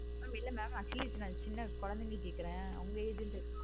இல்ல mam actually இப்ப சின்ன குழந்தைக்கு கேட்குரேன்.